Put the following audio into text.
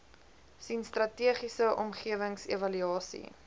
sien strategiese omgewingsevaluasie